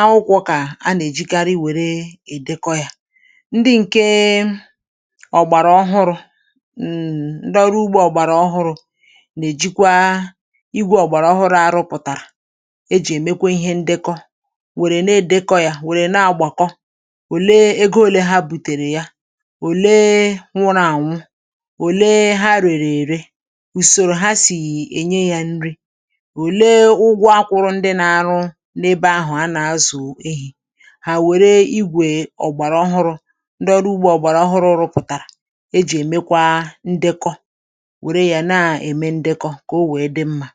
ma bụrụ nke ziri ezi.